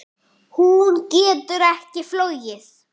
Hún getur ekki flogið.